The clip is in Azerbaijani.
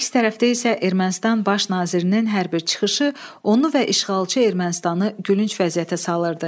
Əks tərəfdə isə Ermənistanın baş nazirinin hər bir çıxışı onu və işğalçı Ermənistanı gülünc vəziyyətə salırdı.